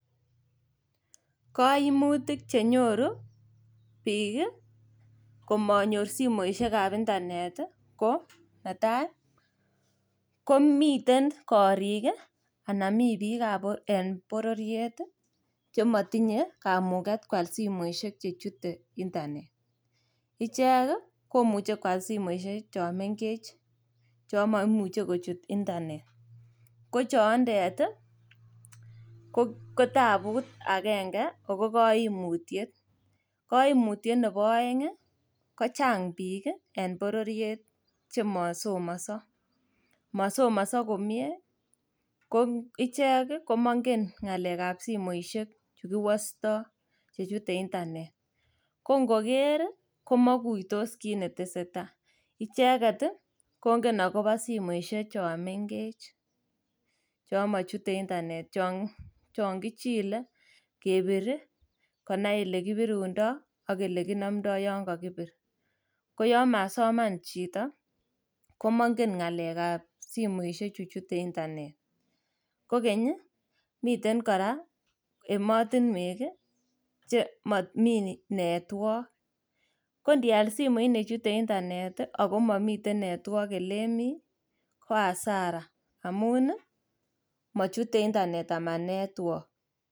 Koimutik chenyoru biik komonyor simoisiekab internet ii ko netai komiten gorik ii ana mi biik en bororiet chemotinye kamuket kwal simoisiek chechute internet. Ichek komuche kwal simoisiek chon mengech chon momuche kochut internet, kochoondet ii kotabut agenge ago koimutiet. Koimutiet nebo oeng' ii kochang' biik en bororiet chemosomoso, mosomoso komie ko ichek komongen ng'alekab simoisiek chekiwosto chechute internet. Kongoker komokuitos kit netesetai, icheket kongen agobo simoisiek chon mengech chon mochute internet chon kichile, kebir ii, konai ilekibirundoi ak ilekinomdo yon kokibir. Koyon masoman chito komongen ng'alekab simoisiechu chute internet. Kogeny ii miten kora emotinwek chemomi network, kondial simoit nechute internet ago momiten network elemi ko hasara amun ii mochute internet ama network.